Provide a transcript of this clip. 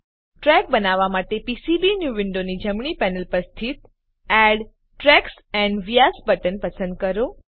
track બનાવવા માટે PCB new વિન્ડોની જમણી પેનલ પર સ્થિત add tracks and vias button પસંદ કરો